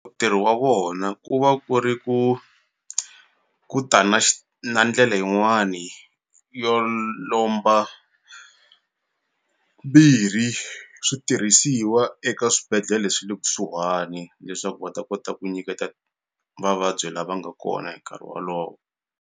Ntirho wa vona ku va ku ri ku ku ta na na ndlele yin'wani yo lomba mbirhi switirhisiwa eka swibedhlele swi le kusuhani leswaku va ta kota ku nyiketa vavabyi la va nga kona hi nkarhi wolowo.